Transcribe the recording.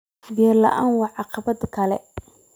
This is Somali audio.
Biyo la'aantu waa caqabad kale.